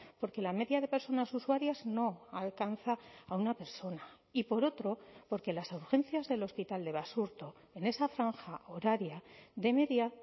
porque la media de personas usuarias no alcanza a una persona y por otro porque las urgencias del hospital de basurto en esa franja horaria de media